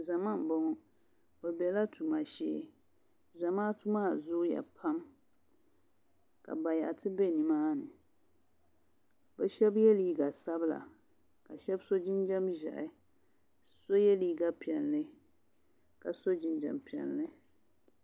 Zama n boŋo bi biɛla tuma shee zamaatu maa zooya pam ka bayaɣati bɛ nimaani bi shab yɛ liiga sabila ka shab so jinjɛm ʒiɛhi so yɛ liiga piɛlli ka so jinjɛm piɛlli